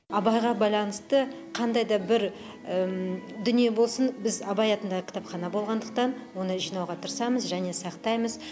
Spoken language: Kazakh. абайға байланысты қандай да бір дүние болсын біз абай атындағы кітапхана болғандықтан оны жинауға тырысамыз және сақтаймыз